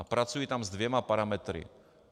A pracuji tam s dvěma parametry.